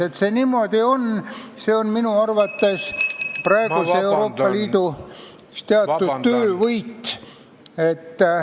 Et see niimoodi on, on minu arvates praeguse Euroopa Liidu teatud töövõit.